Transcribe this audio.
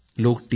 लोक टी